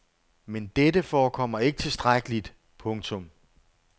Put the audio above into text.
Men dette forekommer ikke tilstrækkeligt. punktum